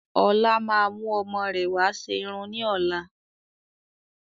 Ọlá máa mú ọmọ rẹ wà ṣe irun ni ọ̀la